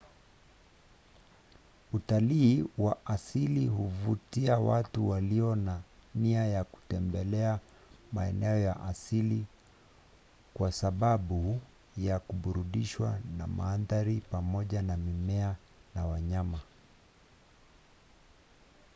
utalii wa asili huvutia watu walio na nia ya kutembelea maeneo ya asili kwa sababu ya kuburudishwa na maadhari pamoja na mimea na wanyama